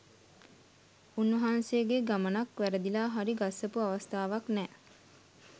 උන්වහන්සේගේ ගමනක් වැරදිලා හරි ගස්සපු අවස්ථාවක් නෑ